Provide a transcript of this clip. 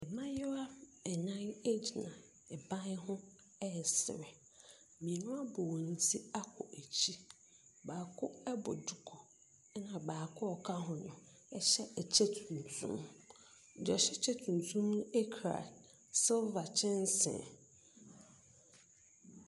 Mmayewa nnan gyina ban ho resere. Mmienu abɔ wɔn tikɔ akyire. Baako bɔ duku, ɛna baako a ɔka ho no hyɛ ɛkyɛ tuntum. Deɛ ɔhyɛ ɛkyɛ tuntum no kura silver kyɛnsee.